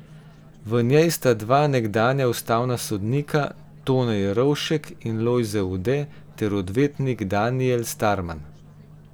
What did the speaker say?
V njej sta dva nekdanja ustavna sodnika Tone Jerovšek in Lojze Ude ter odvetnik Danijel Starman.